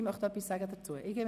Gibt es dazu Voten?